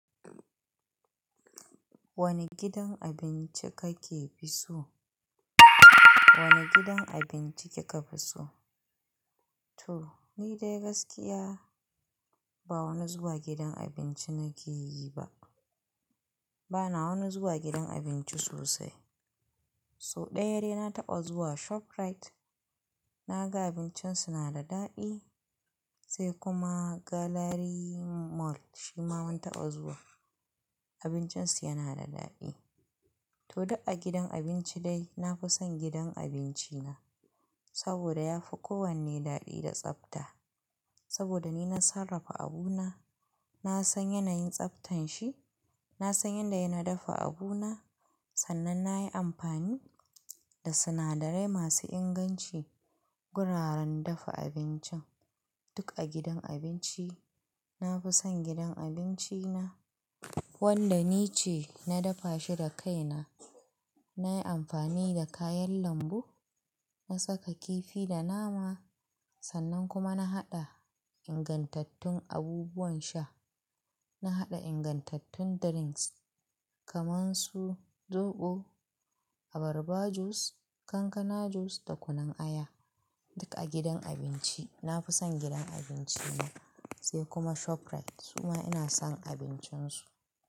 Wane gidan abinci kake fi so? Wane gidan abinci kika fi so? To, ni dai gaskiya ba wani zuwa gidan abinci nake yi ba. Bana wani zuwa gidan abinci sosai. Sou ɗaya dai na taɓa zuwa ShopRite. Na ga abincin su na da daɗi, sai kuma Gallery Mall shima mun taɓa zuwa. Abincin su yana da daɗi. To duk a gidan abinci dai, na fi son gidan abinci na saboda ya fi kowanne daɗi da tsafta. Saboda ni na sarrafa abuna, na san yanayin tsaftan shi, na san yadda yay na dafa abuna. Sannan na yi amfani da sinadarai masu inganci. Gurara na dafa abincin. Duk a gidan abinci. Na fi son gidan abinci na wanda ni ce na dafa shi da kaina. Na yi amfani da kayan lambu, na saka kifi da nama. Sannan kuma na haɗa ingantattun abubuwan sha. Na haɗa ingantattun drinks kaman su zoɓo, abarba juice, kankana juice da kunun aya. Duk a gidan abinci. Na fi son gidan abinci na sai kuma ShopRite kuma ina son abincin su.